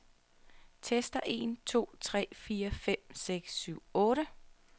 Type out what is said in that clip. Tester en to tre fire fem seks syv otte.